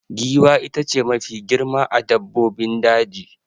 Giwa ita ce Mafi girma a dabbobin daji